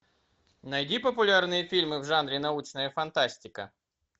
найди популярные фильмы в жанре научная фантастика